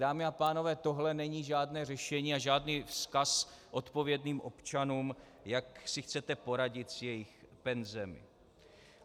Dámy a pánové, tohle není žádné řešení a žádný vzkaz odpovědným občanům, jak si chcete poradit s jejich penzemi.